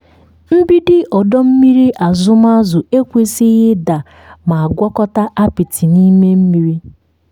mgbidi ọdọ mmiri azụm azụ ekwesịghị ịda ma gwakọta apịtị n'ime mmiri.